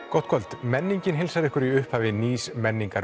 gott kvöld menningin heilsar ykkur í upphafi nýs